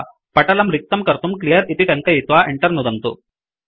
पटलं रिक्तं कर्तुं क्लियर् इति टङ्कयित्वा Enter नुदन्तु